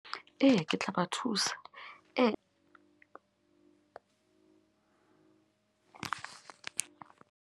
Eya, ke tla ba thusa .